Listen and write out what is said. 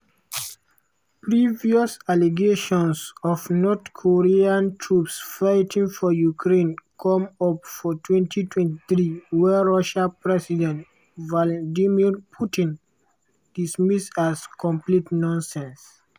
previous allegations of north korean troops fighting for ukraine come up for 2023 wey russia president vladimir putin dismiss as "complete nonsense".